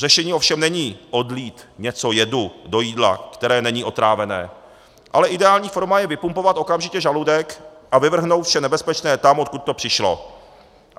Řešením ovšem není odlít něco jedu do jídla, které není otrávené, ale ideální forma je vypumpovat okamžitě žaludek a vyvrhnout vše nebezpečné tam, odkud to přišlo.